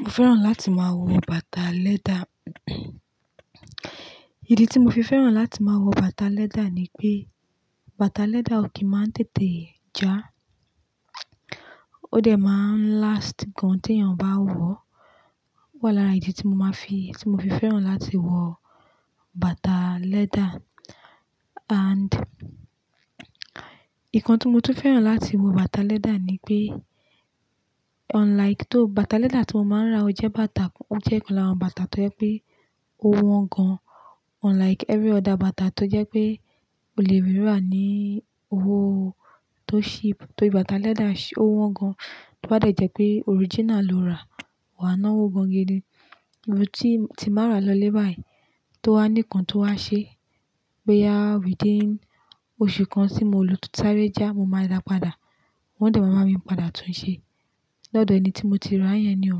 Mo fẹ́ràn láti máa wọ bàtà leather. Ìdí tí mo fi fẹ́ràn láti máa wọ bàtà leather ni pé bàtà leather ò kí má tètè já, ó dẹ̀ má ń last gan tí èèyàn bá wọ̀. Wá lára ìdí tí mo má fi-- tí mo fi fẹ́ràn láti wọ bàtà leather. And nǹkan tí mo tún fẹ́ràn láti wọ bàtà leather ni pé unlike-- tó bàtà leather tí mo má ń rà o jẹ́ bàtà kan, ó jẹ́ ọ̀kan lára àwọn bàtà tó jẹ́ pé ó wọ́n gan unlike every other bàtà tó jẹ́ pé ó lè ríra ní owó tó cheap. Torí bàtà leather ó wọ́n gan, tó bá dẹ̀ jẹ́ pé original lo rà wà á ná owó gan ni. Ìgbà tí, tí n bá rà lọ lẹ́bàá yìí, tó wá ní ǹkan tó wá ṣe bóyá wìí díìn oṣù kan tí mo ló totí sáré já, mo máa dàá padà wọ́n dẹ̀ máa bá mi padà tún un ṣe lọ́dọ̀ ẹni tí mo ti rà yẹn ni o.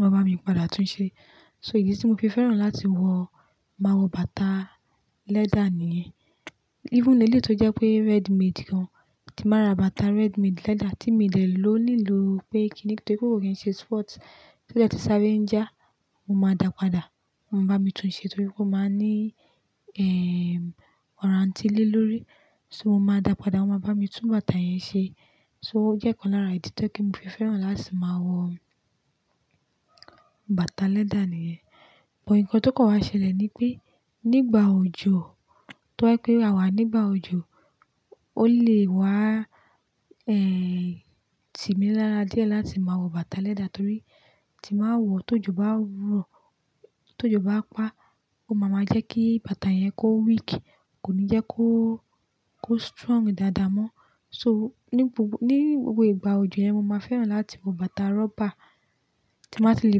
Wọn bá mi padà tún un ṣe. So ìdí tí mo fi fẹ́ràn láti wọ, máa wọ bàtà leather nìyẹn. Even éle tó jẹ́ pé readymade gan, tí n bá rà bàtà readymade leather tí mi dẹ̀ lò nílò pé kíni nítorí pé kò rí ṣe spot, tó jẹ́ tí sáré ń já, mo máa dàá padà, wọ́n bá mi tún ṣe torí pé ó máa ní, ehm, warranty lé lórí. So mo máa dàá padà wọ́n máa bá mi tún bàtà yẹn ṣe. So ó jẹ́ ọ̀kan lára ìdí tó jẹ pé mo fi fẹ́ràn láti máa wọ bàtà leather nìyẹn. But nǹkan tó kàn wá ṣẹlẹ̀ ni pé nígbà òjò, tó jẹ pé àwa nígbà òjò, ó lè wá, eh, tímí lára díẹ̀ láti máa wọ bàtà leather torí tí n báa wọ̀ tó jò bá rọ̀, tó jò bá pa ó máa ma jẹ́ kí bàtà yẹn kó weak kò ní jẹ́ kó, kó strong dáadáa mọ́. So ní gbogbo, ní gbogbo ìgbà òjò yẹn mo máa fẹ́ràn láti wọ bàtà rubber. Tí n bá ti lè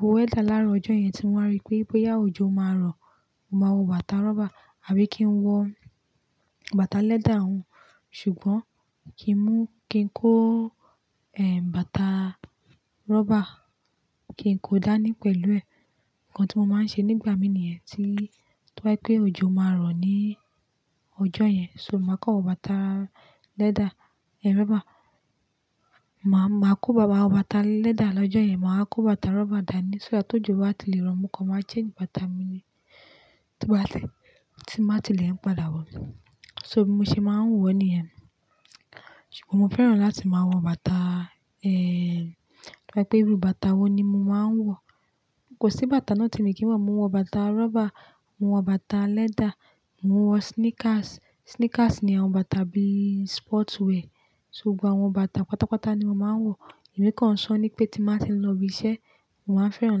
wo weather láàárọ ọjọ́ yẹn tí wọ́n á rí pé, pé boyá òjò ó máa rọ̀, mo máa wọ bàtà rubber àbí kí n wọ bàtà leather hun. Ṣùgbọ́n kí n mú-- kí n kó, eh, bàtà rubber kí n kó dáa ní pẹ̀lú ẹ̀. Nǹkan tí mo máa ń ṣe nígbà mí níyẹn tí tó ba jẹ pé òjò máa rọ̀ ní ọjọ́ yẹn so mo máa kọ̀ wọ bàtà leather, eh, rubber. Ma, màá kó ba-- máa wọ bàtà leather lọ́jọ́ yẹn mà wá kó bàtà rubber dà ní sọ́ à ti òjò bá ti lè rọ mo kàn máa change bàtà mi ni tó bá tẹ̀ tín bá ti lè ń padà wọ̀. So bí mo ṣe máa ń wọ̀ níyẹn. Ṣùgbọ́n mo fẹ́ràn láti máa wọ bàtà, eh, tó bá jẹ́ pé irú bàtà wo ni mo máa ń wọ̀. Kò sí bàtà náà tí mi kì í wọ̀, mo ń wọ bàtà rubber, mo ń wọ bàtà leather, mo ń wọ sneakers. Sneakers ni àwọn bàtà bí sport wear. Ṣùgbọ́n àwọn bàtà pátápátá ni mo máa ń wọ̀. Èmi kàn sọ ní pé tí n bá ti ń lọ ibi iṣẹ́, mo máa ń fẹ́ràn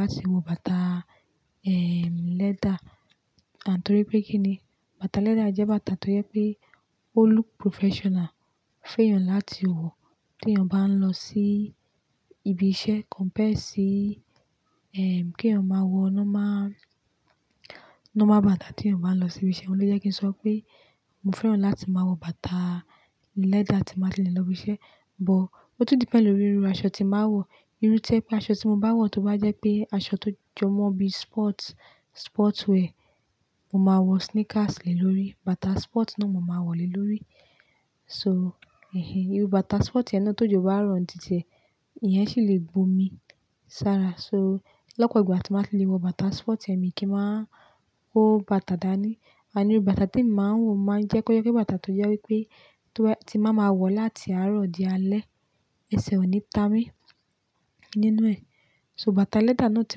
láti wọ bàtà, eh, leather. And torí pé kíni bàtà leather jẹ́ bàtà tó jẹ́ pé ó look professional fún èèyàn láti wọ̀ tí èèyàn bá ń lọ sí ibi iṣẹ́ compared sí, ehm, kí èèyàn máa wọ nomá, nomá bàtà tí èèyàn bá ń lọ sí ibi iṣẹ́. Ó lé jẹ́ kí n sọ pé mo fẹ́ràn láti máa wọ bàtà leather tí n bá ti lè lọ ibi iṣẹ́. But ó tún depend lórí irú aṣọ tí máa wọ̀. Irú ti ẹ́ pé aṣọ tí mo bá wọ̀ tó bá jẹ́ pé aṣọ tó jọ mọ́ bí sport, sport wear, mo máa wọ sneakers lé lórí, bàtà sport náà mo máa wọ̀ lé lórí. So, ehin, irú bàtà sport yẹn náà tó jò bá rọ̀ǹtítẹ̀, ìyẹn sì lè gbo omi sára so lọ́pọ̀ ìgbà tí màá ti lè wọ bàtà sport yẹn mi kì í máa kó bàtà dà ní. Àní irú bàtà tí mo máa ń wọ̀ máa ń jẹ́ kọ́ jẹ pé bàtà tó jẹ́ wípé tó ti máa ma wọ̀ láti àárọ̀ di alẹ́ ẹsẹ̀ ò ní ta mí nínú ẹ̀. So bàtà leather náà tí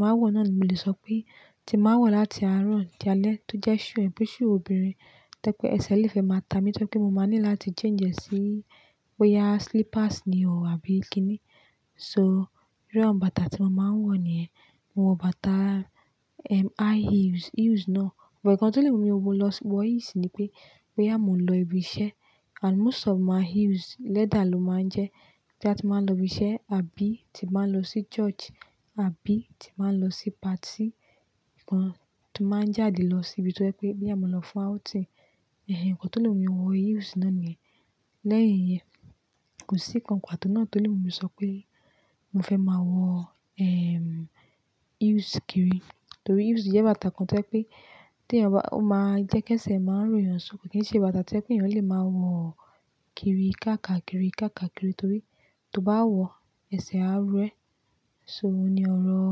màá wọ̀ náà mo lè sọ pé tí màá wọ̀ láti àárọ̀ di alẹ́ tó jẹ́ shoe, bí shoe obìnrin tẹ́ pé ẹsẹ̀ lè fẹ máa ta mi tó jẹ́ pé mo máa ní láti change ẹ̀ sí bóyá slippers ni o àbí kíni. So irú àwọn bàtà tí mo máa ń wọ̀ níyẹn. Mo wọ bàtà, ehm, high heels, heels náà. Ọ̀pọ̀ nkàn tó lè mu mi wó lọ sí wọ heels ni pé bóyá mo ń lọ ibi iṣẹ́. And most of my heels leather ló máa ń jẹ́ bóyá ti báa ń lọ ibi iṣẹ́ àbí ti báa ń lọ sí church àbí ti báa ń lọ sí party kan tó máa ń jáde lọ sí ibi tí ó jẹ́ pé bóyá mo lọ fún outing. Ehin, nǹkan tó lè mú mi wọ heels náà ni. Lẹ́yìn yẹn kò sí nǹkan pátó náà tó lè mú mi sọ pé mo fẹ́ máa wọ, ehm, heels kiri. Torí heels jẹ́ bàtà kan tó jẹ́ pé tí èèyàn bá-- ó máa ń jẹ́ kí ẹsẹ̀ máa ń ró èèyàn só kì í ṣe bàtà tí ẹniyàn lè máa wọ kiri ká ká kiri ká ká kiri torí tó bá wọ ẹsẹ̀ á ró ẹ. So òní ọ̀rọ̀,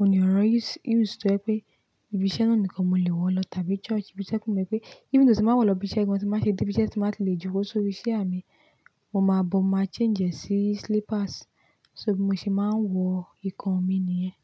òní ọ̀rọ̀ heels, heels tó jẹ́ pé ibi iṣẹ́ náà nìkan mo lè wọ lọ tàbí church. Ibi iṣẹ́ kò mọ̀ pé-- even tí mo bá wọ̀ lọ ibi iṣẹ́, tí n bá ṣe dé ibi iṣẹ́ tí n bàá ti lè jokó sórí ṣià mi. Mo máa bọ̀ máa change ẹ̀ sí slippers. So bí mo ṣe máa ń wọ ìkan mi nìyẹn.